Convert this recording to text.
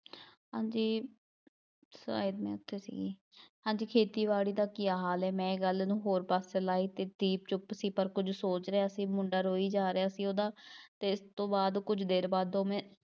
ਹਾਂਜੀ ਹਾਂਜੀ ਖੇਤੀਬਾੜੀ ਦਾ ਕੀ ਹਾਲ ਹੈ ਮੈਂ ਇਹ ਗੱਲ ਨੂੰ ਹੋਰ ਪਾਸੇ ਲਾ ਇਹ ਦਿੱਤੀ, ਚੁੱਪ ਸੀ, ਪਰ ਕੁੱਝ ਸੋਚ ਰਿਹਾ ਸੀ ਮੁੰਡਾ, ਰੋਈ ਜਾ ਰਿਹਾ ਸੀ ਉਹਦਾ ਅਤੇ ਇਸ ਤੋਂ ਬਾਅਦ ਕੁੱਝ ਦੇਰ ਬਾਅਦ ਦੋਵੇਂ